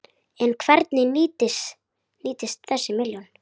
En hvernig nýtist þessi milljón?